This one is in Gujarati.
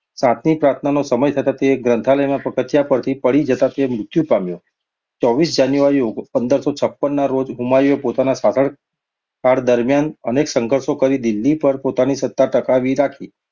સાંજની પ્રાર્થનાનો સમય થતા તે ગ્રંથાલયનાં પગથિયાં પરથી પડી જતાં મૃત્યુ પામ્યો ચોવીસ જાન્યુઆરી ઓગ પંદરસો છપ્પન ના રોજ હુમાયુએ પોતાના શાસનકાળ દરમિયાન અનેક સંઘર્ષો કરી દિલ્હી પર પોતાની સત્તા ટકાવી રાખી.